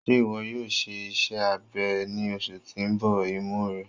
Ṣe iwọ yoo ṣe iṣẹ abẹ ni oṣu ti n bọ imu rẹ?